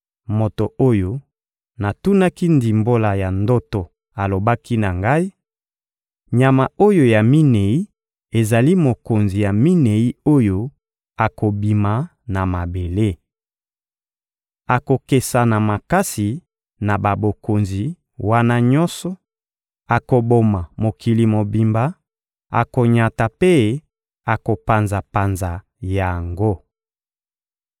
Moto oyo natunaki ndimbola ya ndoto alobaki na ngai: — Nyama oyo ya minei ezali mokonzi ya minei oyo akobima na mabele. Akokesana makasi na babokonzi wana nyonso: akoboma mokili mobimba, akonyata mpe akopanza-panza yango.